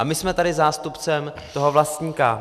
A my jsme tady zástupcem toho vlastníka.